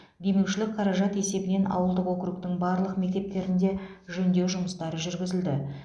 демеушілік қаражат есебінен ауылдық округтің барлық мектептерінде жөндеу жұмыстары жүргізілді